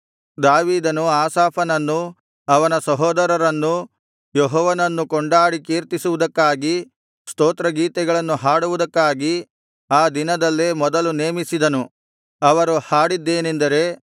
ದಾವೀದನು ಆಸಾಫನನ್ನೂ ಅವನ ಸಹೋದರರನ್ನೂ ಯೆಹೋವನನ್ನು ಕೊಂಡಾಡಿ ಕೀರ್ತಿಸುವುದಕ್ಕಾಗಿ ಸ್ತೋತ್ರಗೀತೆಗಳನ್ನು ಹಾಡುವುದಕ್ಕಾಗಿ ಆ ದಿನದಲ್ಲೇ ಮೊದಲು ನೇಮಿಸಿದನು ಅವರು ಹಾಡಿದ್ದೇನಂದರೆ